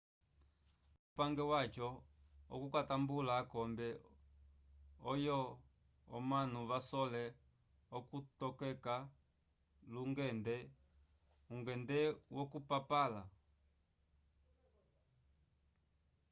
pamwe upange waco wokutambula akombe oyo omanu vasole okuvitokeka lungende ungende wokupapala